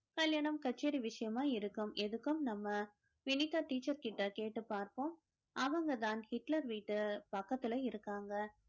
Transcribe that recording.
கல்யாணம் கச்சேரி விஷயமா இருக்கும் எதுக்கும் நம்ம வினிகா teacher கிட்ட கேட்டுப் பார்ப்போம் அவங்கதான் Hitler வீட்டு பக்கத்துல இருக்காங்க